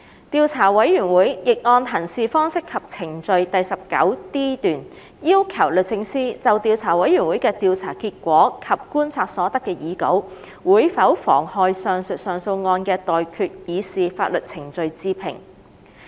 調查委員會亦按《行事方式及程序》第 19d 段，要求律政司就調查委員會的調查結果及觀察所得的擬稿會否妨害上述上訴案的待決刑事法律程序置評。